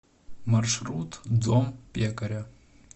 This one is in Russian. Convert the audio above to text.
маршрут дом пекаря